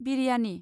biryani